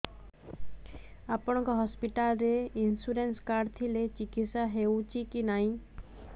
ଆପଣଙ୍କ ହସ୍ପିଟାଲ ରେ insurance card ଥିଲେ ଚିକିତ୍ସା ହେଉଛି କି ନାଇଁ